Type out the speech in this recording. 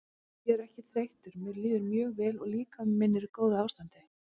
Ég er ekki þreyttur mér líður mjög vel og líkami minn er í góðu ástandi.